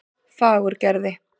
Fagurgerði